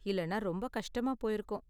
இல்லன்னா ரொம்ப கஷ்டமா போயிருக்கும்.